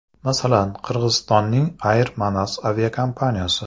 Masalan, Qirg‘izistonning Air Manas aviakompaniyasi.